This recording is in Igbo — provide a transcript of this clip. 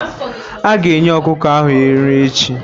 Aga enye ọkụkọ ahụ nri echi.